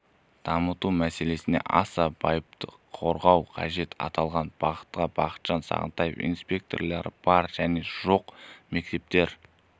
дамыту мәселесіне аса байыпты қарау қажет аталған бағытта бақытжан сағынтаев инспекторлары бар және жоқ мектептер